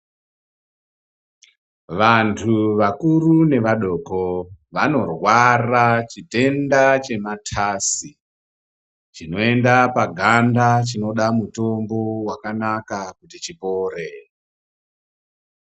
Vantu vakuru nevadoko anorwara chitenda chematasi chinoenda paganda chinoda mutombo wakanaka kuti chipore